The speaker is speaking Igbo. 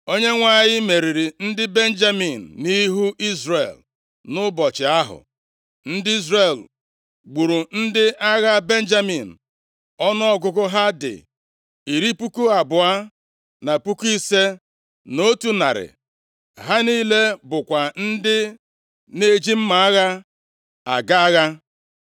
Onyenwe anyị meriri ndị Benjamin nʼihu Izrel, nʼụbọchị ahụ; ndị Izrel gburu ndị agha Benjamin ọnụọgụgụ ha dị iri puku abụọ, na puku ise, na otu narị. Ha niile bụkwa ndị na-eji mma agha aga agha.